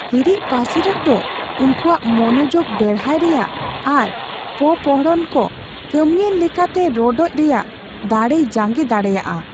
ᱦᱟᱹᱨᱤᱡᱽᱯᱟᱹᱥᱤᱨᱚᱜ ᱫᱚ ᱩᱱᱠᱩᱣᱟᱜ ᱢᱚᱱᱚᱡᱳᱜ ᱵᱮᱲᱦᱟᱨ ᱨᱮᱭᱟᱜ ᱟᱨ ᱯᱚᱯᱚᱲᱦᱚᱱ ᱠᱚ ᱠᱟᱹᱢᱤᱭᱟᱱ ᱞᱮᱠᱟᱛᱮ ᱨᱚᱰᱚᱡᱽ ᱨᱮᱭᱟᱜ ᱫᱟᱲᱮᱭ ᱡᱟᱝᱜᱮ ᱫᱟᱲᱮᱭᱟᱜᱼᱟ ᱾